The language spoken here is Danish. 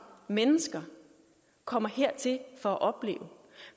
mennesker kommer hertil for at opleve